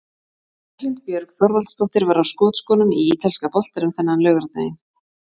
Berglind Björg Þorvaldsdóttir var á skotskónum í ítalska boltanum þennan laugardaginn.